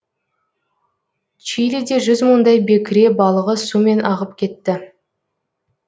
чилиде жүз мыңдай бекіре балығы сумен ағып кетті